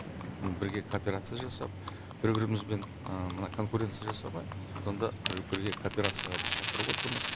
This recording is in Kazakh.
бірге кооперация жасап бір бірімізбен мына конкуренция жасамай сонда бірге кооперацияға біз шақырып отырмыз